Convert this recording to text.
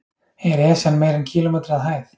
Er Esjan meira en kílómetri að hæð?